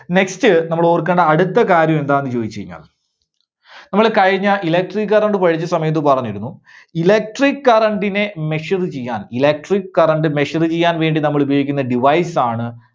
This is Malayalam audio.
next നമ്മള് ഓർക്കേണ്ട അടുത്ത കാര്യം എന്താണെന്ന് ചോദിച്ചു കഴിഞ്ഞാൽ നമ്മള് കഴിഞ്ഞ electric current പഠിച്ച സമയത്ത് പറഞ്ഞിരുന്നു, electric current നെ measure ചെയ്യാൻ, electric current measure ചെയ്യാൻ വേണ്ടി നമ്മളുപയോഗിക്കുന്ന device ആണ്